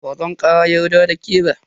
Bazan kara yarda da ke ba.